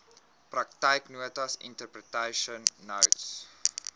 praktyknotas interpretation notes